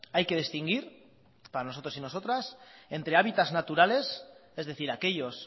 hay que distinguir para nosotros y nosotras entre hábitats naturales es decir aquellos